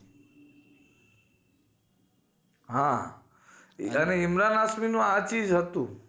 હા ઇમરાન હાસમીનું આ ચીઝ હતું